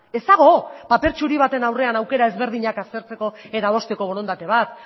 ez dago paper txuri baten aurrean aukera ezberdinak aztertzeko eta adosteko borondate bat